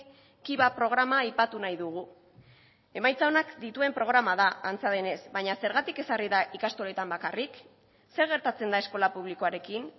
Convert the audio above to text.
kiva programa aipatu nahi dugu emaitza onak dituen programa da antza denez baina zergatik ezarri da ikastoletan bakarrik zer gertatzen da eskola publikoarekin